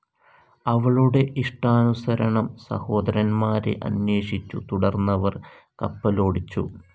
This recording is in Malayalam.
അവളുടെ ഇഷ്ടാനുസരണം സഹോദരന്മാരെ അന്വേഷിച്ചു തുടർന്നവർ കപ്പലോടിച്ചു.